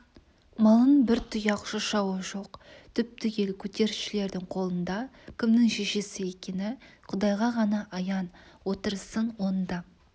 малың бір тұяқ шашауы жоқ түп-түгел көтерілісшілердің қолында кімнің шешесі екені құдайға ғана аян отырысың оңды